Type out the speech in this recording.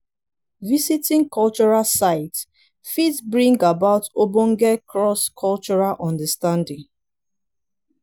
visiting cultural sites fit bring about ogbonge cross cultural understanding